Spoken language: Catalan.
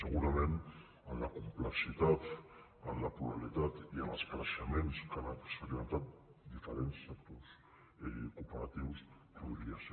segurament en la complexitat en la pluralitat i en els creixements que han experimentat diferents sectors cooperatius podria ser